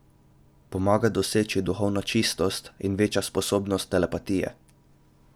Pomaga doseči duhovno čistost in veča sposobnost telepatije.